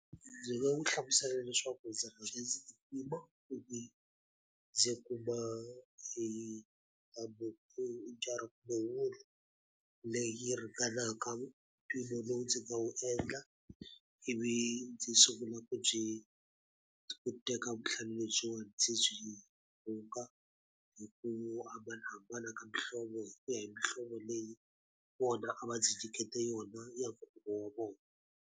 Ndzi nga n'wi hlamusela leswaku ndzi kuma leyi ringanaka ntivo lowu ndzi nga wu endla. Ivi ndzi sungula ku byi ku teka vuhlalu lebyiwani ndzi byi rhunga hi ku hambanahambana ka mihlovo, hi ku ya hi mihlovo leyi vona a va ndzi nyikete yona ya nkhuvo wa vona.